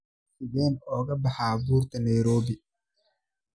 sideen uga baxaa buurta nairobi